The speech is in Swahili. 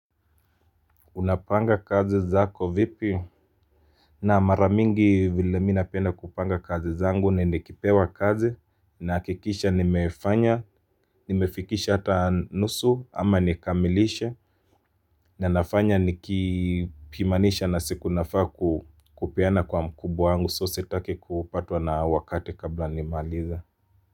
Unapanga kazi zako vipi? Naam, mara mingi vile mi napenda kupanga kazi zangu na nikipewa kazi nahakikisha nimefanya nimefikisha hata nusu ama nikamilishe na nafanya nikipimanisha na siku nafaa kupeana kwa mkubwa wangu so sitaki kupatwa na wakati kabla nimaalize.